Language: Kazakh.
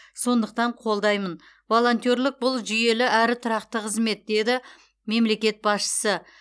сондықтан қолдаймын волонтерлік бұл жүйелі әрі тұрақты қызмет деді мемлекет басшысы